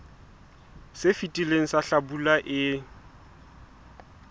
se fetileng sa hlabula e